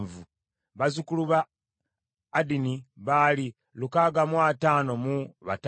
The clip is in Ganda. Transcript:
bazzukulu ba Adini baali lukaaga mu ataano mu bataano (655),